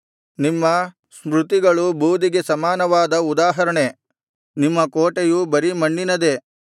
ನಿಮ್ಮ ಸ್ಮೃತಿಗಳು ಬೂದಿಗೆ ಸಮಾನವಾದ ಉದಾಹರಣೆ ನಿಮ್ಮ ಕೋಟೆಯು ಬರೀ ಮಣ್ಣಿನದೇ